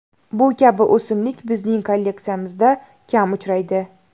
Bu kabi o‘simlik bizning kolleksiyamizda kam uchraydi.